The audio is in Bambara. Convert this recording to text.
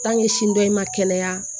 dɔ in ma kɛnɛya